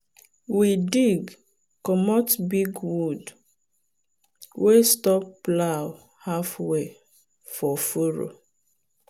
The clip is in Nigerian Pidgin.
we dig comot big wood wey stop plow halfway for furrow.